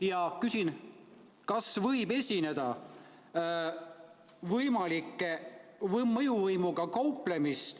Ma küsin, kas võib esineda võimalikku mõjuvõimuga kauplemist.